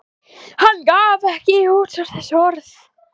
Hann gaf ekkert út á þessi orð.